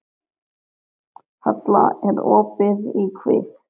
Halla, er opið í Kvikk?